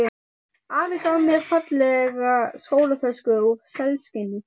Afi gaf mér fallega skólatösku úr selskinni.